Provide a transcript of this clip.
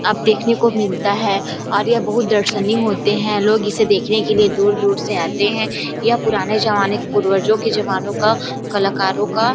अब देखने को मिलता है और यह बहुत दर्शनीय होते है लोग इसे देखने के लिए दूर - दूर से आते है यह पुराने जमाने का पूर्वर्जो के जमानो का कलाकारों का --